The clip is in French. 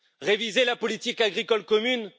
Réviser la politique agricole commune?